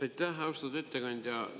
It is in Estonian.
Aitäh, austatud ettekandja!